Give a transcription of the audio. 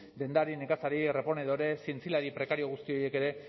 dendari nekazari reponedore zientzilari prekario guzti horiek ere